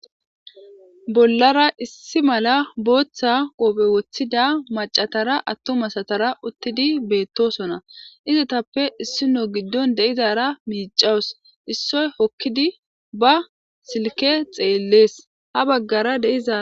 bollara issi mala booththa qopphe woththida macatara attomasatara uttidi beettosona izatappe issino giddon de7izara miicawus issoy hokkidi ba silke xeellees ha baggara deiza